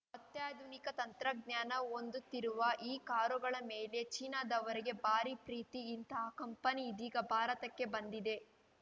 ಅತ್ಯಾಧುನಿಕ ತಂತ್ರಜ್ಞಾನ ಹೊಂದುತ್ತಿರುವ ಈ ಕಾರುಗಳ ಮೇಲೆ ಚೀನಾದವರಿಗೆ ಭಾರಿ ಪ್ರೀತಿ ಇಂಥಾ ಕಂಪನಿ ಇದೀಗ ಭಾರತಕ್ಕೆ ಬಂದಿದೆ